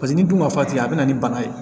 Paseke ni dun ma fa tɛ yen a bɛna ni bana ye